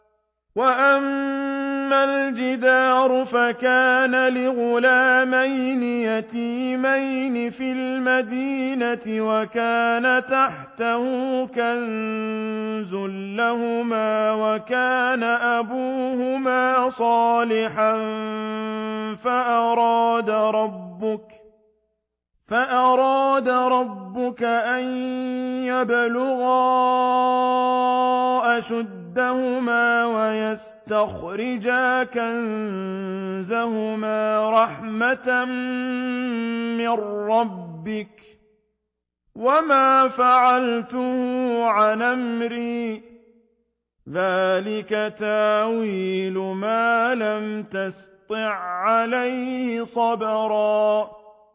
وَأَمَّا الْجِدَارُ فَكَانَ لِغُلَامَيْنِ يَتِيمَيْنِ فِي الْمَدِينَةِ وَكَانَ تَحْتَهُ كَنزٌ لَّهُمَا وَكَانَ أَبُوهُمَا صَالِحًا فَأَرَادَ رَبُّكَ أَن يَبْلُغَا أَشُدَّهُمَا وَيَسْتَخْرِجَا كَنزَهُمَا رَحْمَةً مِّن رَّبِّكَ ۚ وَمَا فَعَلْتُهُ عَنْ أَمْرِي ۚ ذَٰلِكَ تَأْوِيلُ مَا لَمْ تَسْطِع عَّلَيْهِ صَبْرًا